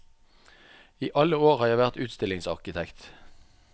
I alle år har jeg vært utstillingsarkitekt.